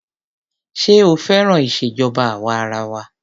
Ṣé ó féràn ìṣèjọba àwa arawa?